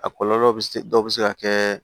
A kɔlɔlɔ bɛ se dɔw bɛ se ka kɛ